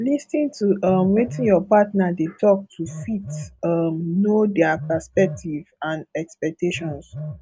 lis ten to um wetin your partner dey talk to fit um know their perspective and expectations